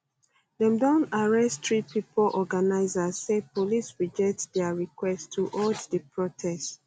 dem don arrest three pipo organisers say police reject dia request to hold di protest